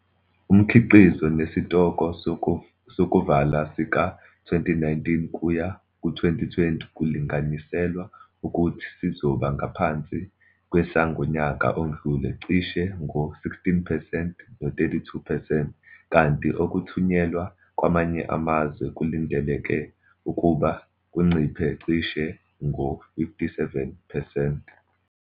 Umkhiqizo nesitoko sokuvala sika-2019 kuya ku2020 kulinganiselwa ukuthi sizoba ngaphansi kwesangonyaka odlule cishe ngo-16 percent no-32 percent, kanti okuthunyelwa kwamanye amazwe kulindeleke ukuba kunciphe cishe ngo-57 percent.